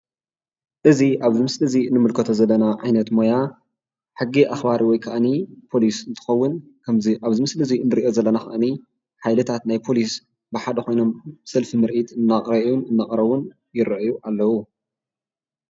እዚ ኣብዚ ምስሊ እዚ እንምልከቶ ዘለና ዓይነት ሞያ ሕጊ ኣኽባሪ ወይ ከዓኒ ፖሊስ እንትኾን ከምዚ ኣብዚ ምስሊ እዚ ንሪኦ ዘለና ከዓኒ ሓይልታት ናይ ፖሊስ ብሓደ ኾይኖም ሰልፊ ምርኢት እናርአዩን እናቕረቡን ይርአዩ ኣለዉ፡፡